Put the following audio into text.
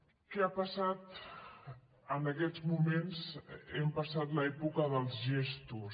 què ha passat en aquests moments hem passat l’època dels gestos